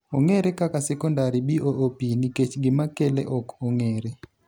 ong'ere kaka sekondari BOOP nikech gima kele ok ong'ere.